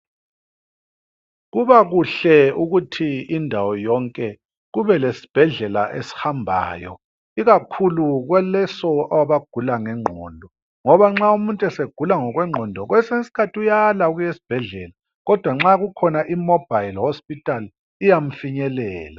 Kubakuhle ukuthi indawo yonke kube lesibhedlela esihambayo ikakhulu kwaleso abagula ngengqondo ngoba nxa umuntu esegula ngokwengqondo kwesinye iskhathi uyala ukuya esibhedlela kodwa nxa kukhona imobile hospital iyamufinyelela